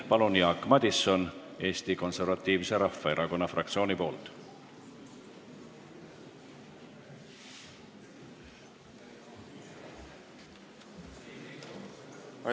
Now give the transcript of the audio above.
Palun, Jaak Madison Eesti Konservatiivse Rahvaerakonna fraktsiooni nimel!